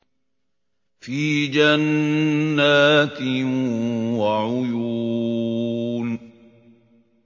فِي جَنَّاتٍ وَعُيُونٍ